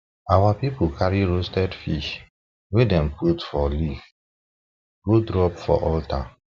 our people carry roasted fish wey dem put for leaf go drop for altar